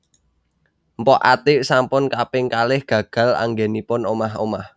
Mpok Atiek sampun kaping kalih gagal anggenipun omah omah